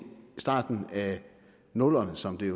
starten af nullerne som det